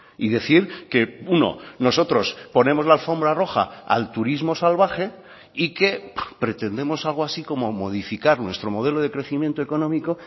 y decir que uno nosotros ponemos la alfombra roja al turismo salvaje y que pretendemos algo así como modificar nuestro modelo de crecimiento económico